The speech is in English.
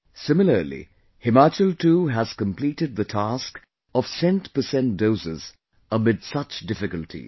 Similarly, Himachal too has completed the task of centpercent doses amid such difficulties